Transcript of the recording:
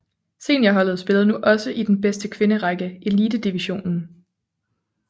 Seniorholdet spillede nu også i den bedste kvinderække Elitedivisionen